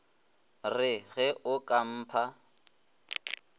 re ge o ka mpha